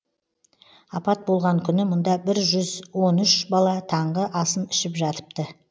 апат болған күні мұнда бір жүз он үш бала таңғы асын ішіп жатыпты